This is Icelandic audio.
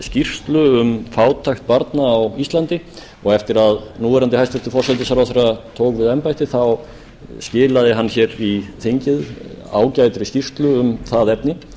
skýrslu um fátækt barna á íslandi eftir að núverandi hæstvirtan forsætisráðherra tók við embætti skilaði hann í þingið ágætri skýrslu um það efni